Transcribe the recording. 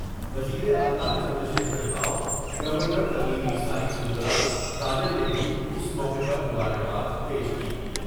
وزیراعلی Chandrashekhar Rao, governor Tamilisai Soundararajan نے بھی اس موقع پر مبار کہا و